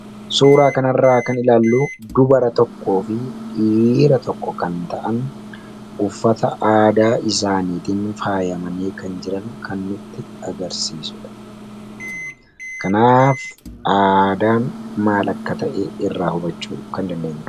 suuraa kanarraa kan ilaallu dubara tokko fi dhiira tokko kan ta'an uffata aadaa isaaniitiin faayamanii kan jiran kannutti agarsiisudha kanaaf aadaan maal akka ta'ee irraa hubachuu kan dandeenye